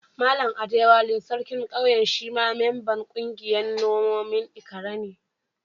Mallam Adewale, sarkin Ƙauyen shi ma memban ƙungiyan manomin Ikare ne.